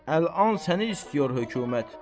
Əlan səni istəyir hökumət.